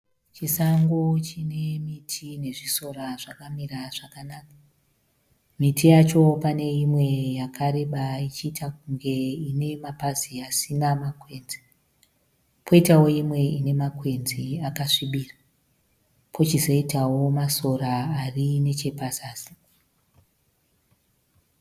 Chisango chine miti nezvisora zvakamira zvakanaka. Miti yacho pane imwe yakareba ichiita kunge ine mapazi asina makwenzi. Kwoitawo imwe ine makwenzi akasvibira. Kwochizoitawo masora ari nechepazasi.